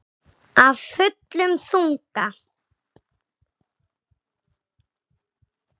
Af fullum þunga.